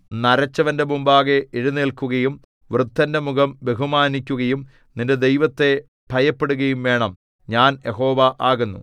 നരച്ചവന്റെ മുമ്പാകെ എഴുന്നേല്ക്കുകയും വൃദ്ധന്റെ മുഖം ബഹുമാനിക്കയും നിന്റെ ദൈവത്തെ ഭയപ്പെടുകയും വേണം ഞാൻ യഹോവ ആകുന്നു